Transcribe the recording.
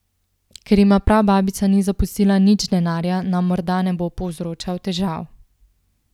Ker jima prababica ni zapustila nič denarja, nam morda ne bo povzročal težav.